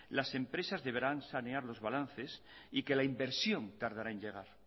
las empresas deberán sanear los balances y que la inversión tardará en llegar